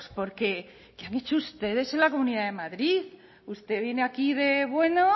porque qué han hecho ustedes en la comunidad de madrid usted viene aquí de bueno